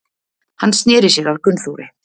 Hann sneri sér að Gunnþóri.